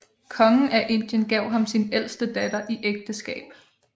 Kongen af Indien gav ham sin ældste datter i ægteskab